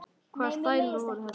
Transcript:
Hvaða stælar voru þetta?